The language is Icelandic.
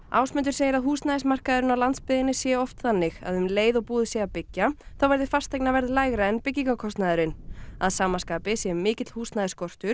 Ásmundur segir að húsnæðismarkaðurinn á landsbyggðinni sé oft þannig að um leið og búið sé að byggja þá verði fasteignaverð lægra en byggingarkostnaðurinn að sama skapi sé mikill húsnæðisskortur